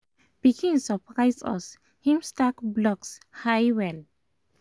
pikin surprise us him stack blocks high well